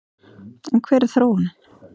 En hver er þróunin?